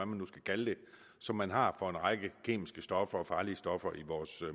man nu skal kalde det som man har for en række kemiske stoffer og farlige stoffer i vores